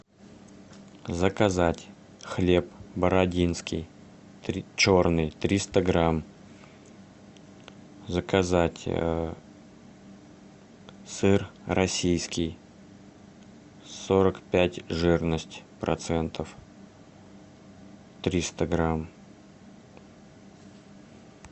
заказать хлеб бородинский черный триста грамм заказать сыр российский сорок пять жирность процентов триста грамм